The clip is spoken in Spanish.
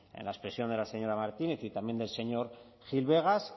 en la expresión de la señora martínez y también del señor gil vegas